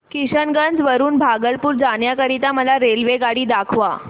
किशनगंज वरून भागलपुर जाण्या करीता मला रेल्वेगाडी दाखवा